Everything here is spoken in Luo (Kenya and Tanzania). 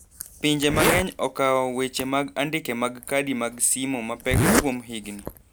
Pinje mang'eny okao weche mag andike mag kadi mag simo mapek kuom higni.